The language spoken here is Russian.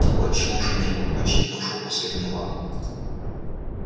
отчима уже не было очевидно ушёл по своим делам